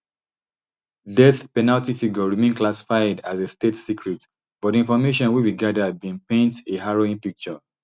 death penalty figure remain classified as a state secret but di information wey we gada bin paint a harrowing picture